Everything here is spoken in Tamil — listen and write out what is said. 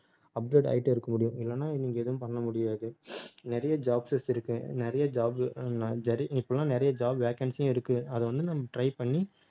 update ஆயிட்டே இருக்க முடியும் இல்லைன்னா நீங்க எதுவும் பண்ண முடியாது நிறைய jobs இருக்கு நிறைய job இப்பெல்லாம் நிறைய job vacancy யும் இருக்கு அதை வந்து, நம்ம try பண்ணி